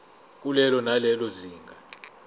kulelo nalelo zinga